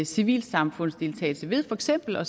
civilsamfundsdeltagelse ved for eksempel at